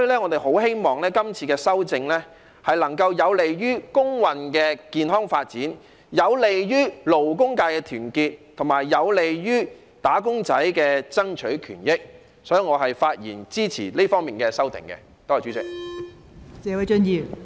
我很希望今次修訂能夠有利於工運的健康發展，有利於勞工界的團結，並且有利"打工仔"爭取權益，故此我發言支持這方面的修訂，多謝代理主席。